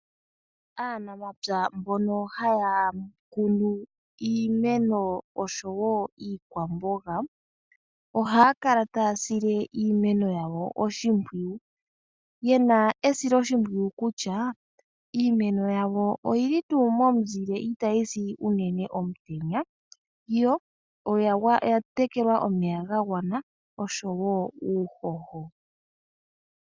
Aanamapya mbono haya kunu iimeno osho wo iikwamboga, ohaya kala tayasile iimeno yawo oshimpwiyu yena esilo shimpwiyu kutya iimeno yawo oyili tu momuzile itayi si unene omutenya yo oya tekelwa omeya gagwana osho wo uuhoho.